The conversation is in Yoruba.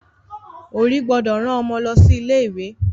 Òbí gbọ́dọ̀ rán Ọmọ lọ sí ilé ìwé